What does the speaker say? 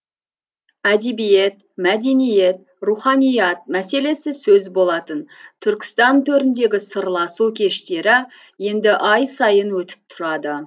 әдебиет мәдениет руханият мәселесі сөз болатын түркістан төріндегі сырласу кештері енді ай сайын өтіп тұрады